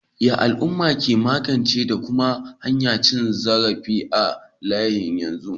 Yaya al'uma ke magance da kuma hana cin zarafi a halin yanzu?